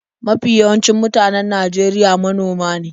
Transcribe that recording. Mafi yawancin mutanen Najeriya manoma ne.